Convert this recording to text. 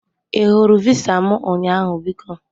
I hụrụ visa m ụnyaahụ biko?